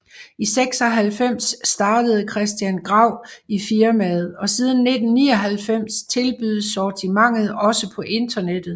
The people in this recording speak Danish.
I 1996 startede Christian Grau i firmaet og siden 1999 tilbydes sortimentet også på internettet